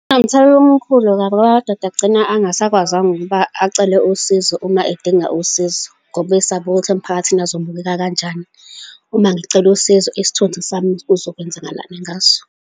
Kunomthelela omkhulu kabi, angoba abadoda agcina angasakwazanga ukuba acele usizo, uma edinga usizo, ngoba isaba ukuthi emphakathini azobukela kanjani. Uma ngicela usizo, isithunzi sami kuzokwenzakalani ngaso.